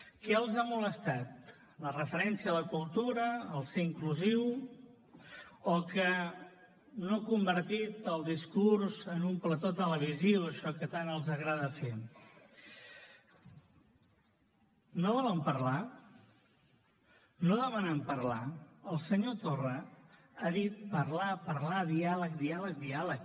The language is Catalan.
què els ha molestat la referència a la cultura ser inclusiu o que no ha convertit el discurs en un plató televisiu això que tant els agrada fer no volen parlar no demanen parlar el senyor torra ha dit parlar parlar diàleg diàleg diàleg